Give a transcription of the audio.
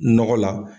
Nɔgɔ la